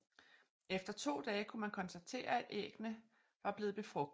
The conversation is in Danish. Efter 2 dage kunne man konstatere at æggene ar blevet befrugtet